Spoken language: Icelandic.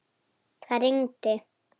Það rigndi.